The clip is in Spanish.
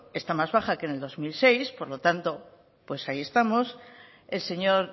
está más baja que el dos mil seis por lo tanto pues ahí estamos el señor